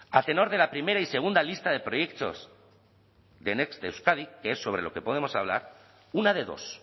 a tenor de la primera y segunda lista de proyectos y de next euskadi que es sobre lo que podemos hablar una de dos